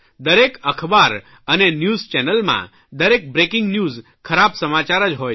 દરેક અખબાર અને ન્યૂઝ ચેનલમાં દરેક બ્રેકીંગ ન્યૂઝ ખરાબ સમાચાર જ હોય છે